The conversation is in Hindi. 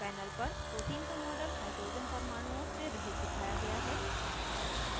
panel पर protein का model hydrogen परमाणुओं से रहित दिखाया गया है